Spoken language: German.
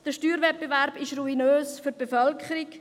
Der Steuerwettbewerb ist ruinös für die Bevölkerung.